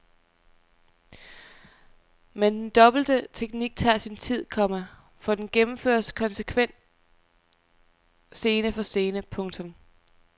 Men den dobbelte teknik tager sin tid, komma for den gennemføres konsekvent scene for scene. punktum